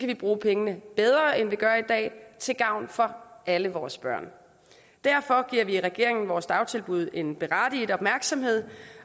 vi bruge pengene bedre end vi gør i dag til gavn for alle vores børn derfor giver regeringen vores dagtilbud en berettiget opmærksomhed